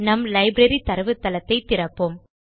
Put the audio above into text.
நம் லைப்ரரி தரவுத்தளத்தை திறப்போம்